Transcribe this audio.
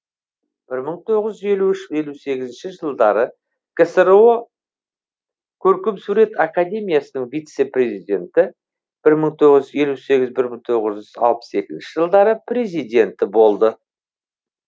бір мың тоғыз елу үш елу сегізінші жылдары ксро көркемсурет академиясының вице президенті бір мың тоғыз жүз елу сегіз бір мың тоғыз жүз алпыс екінші жылдары президенті болды